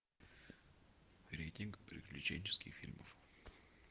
рейтинг приключенческих фильмов